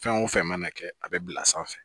Fɛn o fɛn mana kɛ a bɛ bila sanfɛ